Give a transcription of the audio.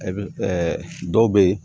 E bɛ dɔw bɛ yen